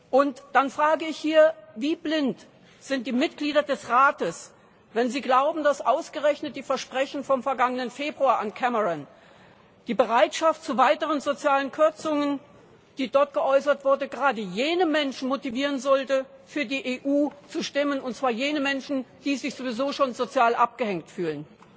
Und dann frage ich hier Wie blind sind die Mitglieder des Rates, wenn sie glauben, dass ausgerechnet die Versprechen vom vergangenen Februar an Cameron die Bereitschaft zu weiteren sozialen Kürzungen die dort geäußert wurde gerade jene Menschen motivieren sollten, für die EU zu stimmen, die sich sowieso schon sozial abgehängt fühlen?